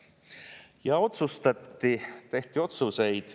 Ja otsustati, tehti otsuseid.